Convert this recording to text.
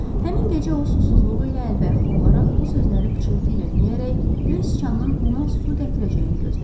Həmin gecə o susuzluğu ilə əlbəyaxa olaraq bu sözləri pıçıltı ilə deyərək göy siçanın ona su gətirəcəyini gözlədi.